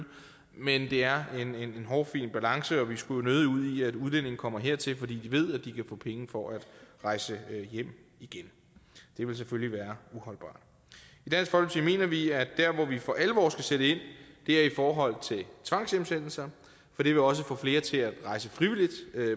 men det er en hårfin balance og vi skulle jo nødig ud i at udlændinge kommer hertil fordi de ved at de kan få penge for at rejse hjem igen det vil selvfølgelig være uholdbart i mener vi at der hvor vi for alvor skal sætte ind er i forhold til tvangshjemsendelser for det vil også få flere til at rejse frivilligt